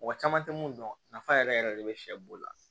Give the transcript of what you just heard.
Mɔgɔ caman tɛ mun dɔn nafa yɛrɛ yɛrɛ de bɛ sɛ b'o la